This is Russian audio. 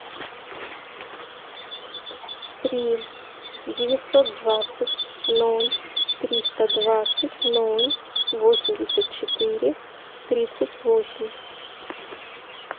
три девятьсот двадцать ноль триста двадцать ноль восемьдесят четыре тридцать восемь